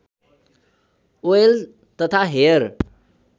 oil तथा hair